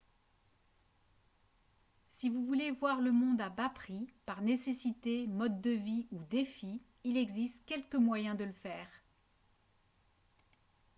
si vous voulez voir le monde à bas prix par nécessité mode de vie ou défi il existe quelques moyens de le faire